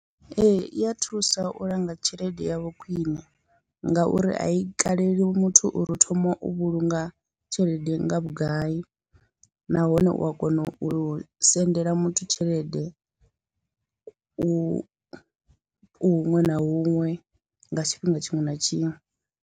Ee i ya thusa u langa tshelede yavho khwiṋe, ngauri a i kaleli muthu uri u thoma u vhulunga tshelede nga vhugai, nahone u a kona u sendela muthu tshelede u u huṅwe na huṅwe nga tshifhinga tshiṅwe na tshiṅwe.